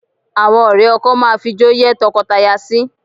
Àwọn ọ̀rẹ́ ọkọ máa fijó yẹ́ tọkọtaya sí